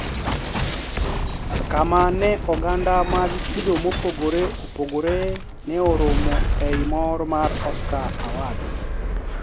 Kama ne oganda mag kido mopogore opogore ne orome e I mor mar Oscar Awards